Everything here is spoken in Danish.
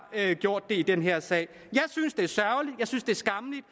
gjort det på i den her sag jeg synes det er sørgeligt jeg synes det er skammeligt